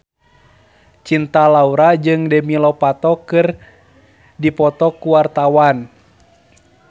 Cinta Laura jeung Demi Lovato keur dipoto ku wartawan